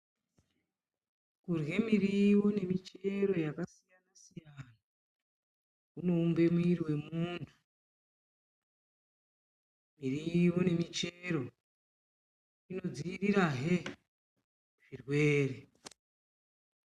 Kurye miriwo nemichero yakasiyana kunoumbe mwiri wemuntu, miriwo nemichero zvinodziirirahe zvirwere.